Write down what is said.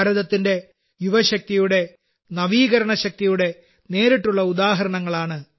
ഭാരതത്തിന്റെ യുവശക്തിയുടെ നവീകരണ ശക്തിയുടെ നേരിട്ടുള്ള ഉദാഹരണങ്ങളാണ്